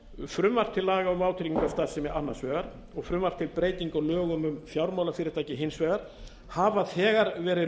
frumvarp til laga um vátryggingarstarfsemi annars vegar og frumvarp til breytinga á lögum um fjármálafyrirtæki hins vegar hafa þegar verið